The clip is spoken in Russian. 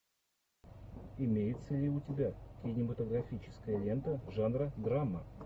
имеется ли у тебя кинематографическая лента жанра драма